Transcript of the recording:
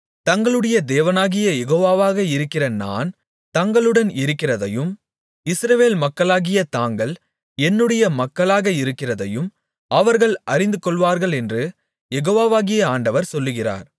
தங்களுடைய தேவனாகிய யெகோவாக இருக்கிற நான் தங்களுடன் இருக்கிறதையும் இஸ்ரவேல் மக்களாகிய தாங்கள் என்னுடைய மக்களாக இருக்கிறதையும் அவர்கள் அறிந்துகொள்வார்களென்று யெகோவாகிய ஆண்டவர் சொல்லுகிறார்